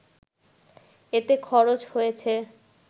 এতে খরচ হয়েছে